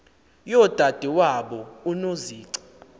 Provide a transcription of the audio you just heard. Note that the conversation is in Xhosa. yodade wabo unozici